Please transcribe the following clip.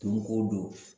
Don o don